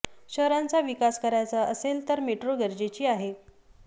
शहरांचा विकास करायचं असेल तर मेट्रो गरजेची आहे